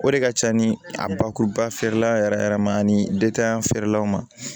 O de ka ca ni a bakuruba feerela yɛrɛ yɛrɛ yɛrɛ ma ani feerelaw ma